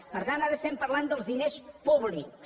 per tant ara estem parlant dels diners públics